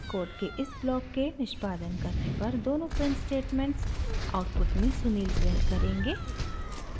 code के इस block के निष्पादन karneपर दोनों प्रिंट स्टेटमेंट्स आउटपुट में sunil प्रिंट करेंगे